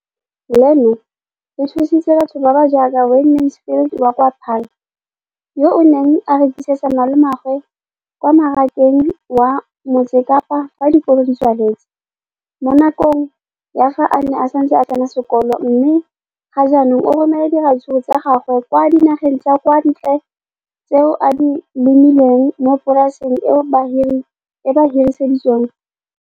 Leno le thusitse batho ba ba jaaka Wayne Mansfield, 33, wa kwa Paarl, yo a neng a rekisetsa malomagwe kwa Marakeng wa Motsekapa fa dikolo di tswaletse, mo nakong ya fa a ne a santse a tsena sekolo, mme ga jaanong o romela diratsuru tsa gagwe kwa dinageng tsa kwa ntle tseo a di lemileng mo polaseng eo ba mo hiriseditseng yona.